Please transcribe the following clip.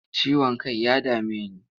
Ciwon kai ya dame ni.